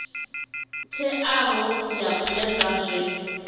teaho u ya nga zwe